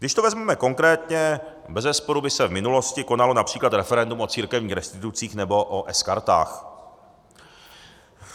Když to vezmeme konkrétně, bezesporu by se v minulosti konalo například referendum o církevních restitucích nebo o S-kartách.